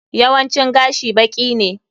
Yawancin gashi baki ne.